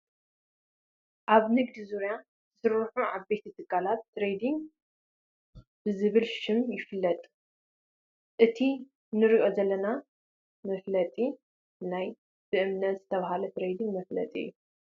ኣብ ንግዲ ዙርያ ዝሰርሑ ዓበይቲ ትካላት ትሬድንግ ብዝብል ሽም ይፍለጡ፡፡ እቲ ንሪኦ ዘለና መፋለጢ ናይ በእምነት ዝተባህለ ትሬዲንግ መፋለጢ እዩ፡፡